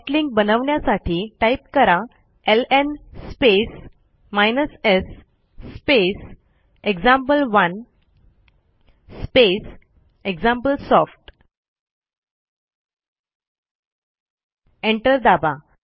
soft link बनवण्यासाठी type करा LN space s space example one space example soft enter दाबा